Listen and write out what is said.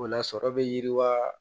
O la sɔrɔ be yiriwa